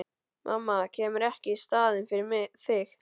Mamma kemur ekki í staðinn fyrir þig.